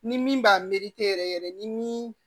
Ni min b'a meri te yɛrɛ yɛrɛ yɛrɛ ni min